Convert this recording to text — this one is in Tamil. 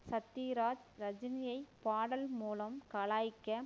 சத்யராஜ் ரஜினியை பாடல் மூலம் கலாய்க்க